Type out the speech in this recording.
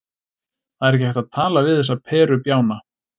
Það er ekki hægt að tala við þessa perubjána.